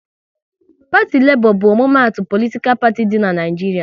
Parti Lebo bu omumatu politikal parti di n'Naijiria